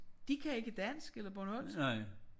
De kan ikke dansk eller bornholmsk